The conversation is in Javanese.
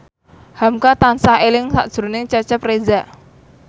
hamka tansah eling sakjroning Cecep Reza